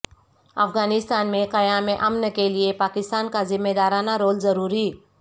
افغانستان میں قیام امن کیلئے پاکستان کا ذمہ دارانہ رول ضروری